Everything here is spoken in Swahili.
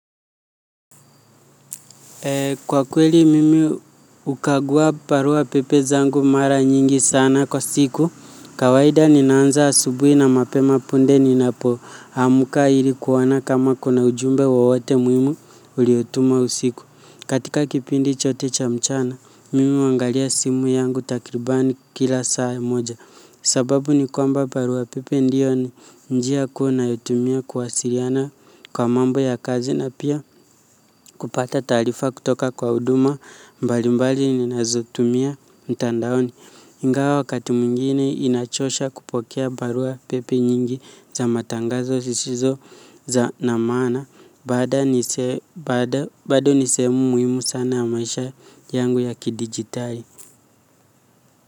Kwa kweli mimi hukagua barua pepe zangu mara nyingi sana kwa siku, kawaida ninaanza asubuhi na mapema punde ninapoamka ili kuona kama kuna ujumbe wowote muhimu uliotumwa usiku. Katika kipindi chote cha mchana, mimi huangalia simu yangu takribani kila saa moja. Sababu ni kwamba barua pepe ndiyo ni njia kuu nayotumia kuwasiliana kwa mambo ya kazi na pia kupata taarifa kutoka kwa huduma mbalimbali ninazotumia mtandaoni. Ingawa wakati mwingine inachosha kupokea barua pepe nyingi za matangazo zisizo za na maana bado ni sehemu muhimu sana ya maisha yangu ya kidigitali.